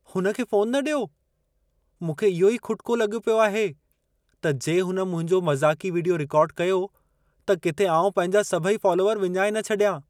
हुन खे फ़ोनु न ॾियो। मूंखे इहो ई खुटिको लॻो पियो आहे, त जे हुन मुंहिंजो मज़ाक़ी वीडियो रिकॉर्ड कयो, त किथे आउं पंहिंजा सभई फालोअर विञाए न छॾियां।